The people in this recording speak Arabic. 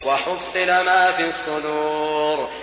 وَحُصِّلَ مَا فِي الصُّدُورِ